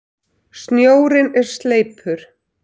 Snjórinn er sleipur!